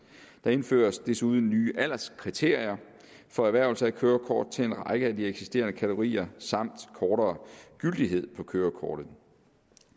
der indføres desuden nye alderskriterier for erhvervelse af kørekort til en række af de eksisterende kategorier samt kortere gyldighed på kørekortet